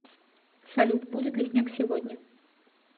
салют будет ли снег сегодня